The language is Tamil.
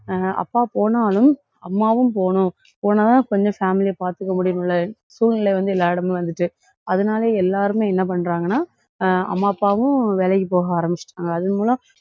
அஹ் அப்பா போனாலும், அம்மாவும் போணும். போனா தான் கொஞ்சம் family ய பாத்துக்க முடியும்ல சூழ்நிலை வந்து எல்லா இடமும் வந்துட்டு. அதனால எல்லாருமே என்ன பண்றாங்கன்னா? ஆஹ் அம்மா, அப்பாவும் வேலைக்கு போக ஆரம்பிச்சுட்டாங்க. அதன் மூலம்,